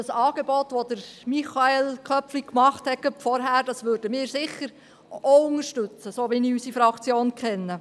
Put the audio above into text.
Das Angebot von Michael Köpfli von vorhin würden sicher auch wir unterstützen, so wie ich unsere Fraktion kenne.